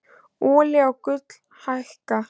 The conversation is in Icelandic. Olía og gull hækka